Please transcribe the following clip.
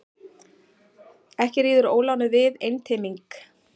Ekki ríður ólánið við einteyming.